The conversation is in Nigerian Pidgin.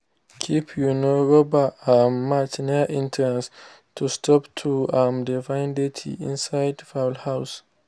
keep um rubber um mats near entrances to stop to um de find dirty inside fowl house.